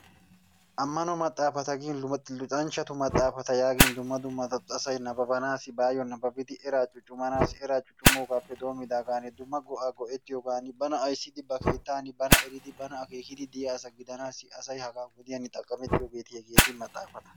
Ammano maxaafata gin luxxanchchatu maxaafata yaagin dumma dumma asay nababanaassi baayoo nababbidi eraa cuccumanaasi eraa cuccummoogaappe doommdaagaan dumma go'aa goettiyogan dumma go'aa go'ettiyoogan bana ayssidi ba keettan bana eridi bana akeekidi diya asa gidanaasi asay hagaa wodiyan xaqqamettiyoogeeta hegeeti maxaafata.